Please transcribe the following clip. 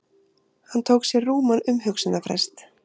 Hann tók sér rúman umhugsunarfrest.